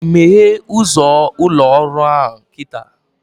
Meghee ụzọ ụlọ ọrụ ahụ kịta!